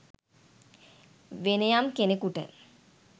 වෙනයම් කෙනෙකුට